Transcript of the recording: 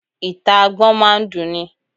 Ìta Agbọ́n máa ń dun ni.